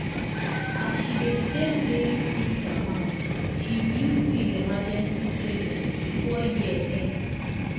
as she dey save daily fixed amount she build big emergency savings before year end.